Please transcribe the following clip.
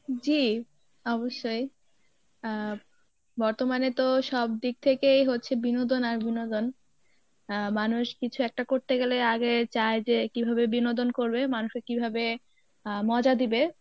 জী অবশ্যই, আহ বর্তমানে তো সব দিক থেকেই হচ্ছে বিনোদন আর বিনোদন, আহ মানুষ কিছু একটা করতে গেলে আগে চায় যে কীভাবে বিনোদন করবে মানুষ কে কীভাবে আহ মজা দিবে